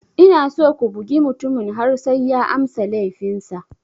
Ina so ku bugi mutumin har sai ya amsa laifinsa.